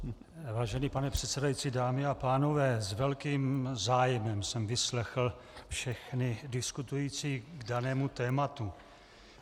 Vážený pane předsedající, dámy a pánové, s velkým zájmem jsem vyslechl všechny diskutující k danému tématu.